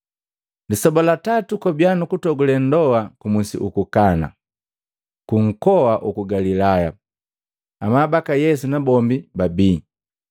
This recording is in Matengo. Lisoba la tatu kwabia nu kutogule ndoa ku Musi uku Kana, ku nkoa uku Galilaya. Amabaka Yesu nabombi babii,